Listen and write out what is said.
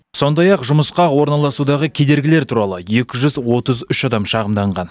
сондай ақ жұмысқа орналасудағы кедергілер туралы екі жүз отыз үш адам шағымданған